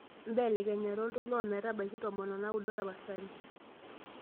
mbelekenya oltoilo ometabaiki tomon onaudo tapasali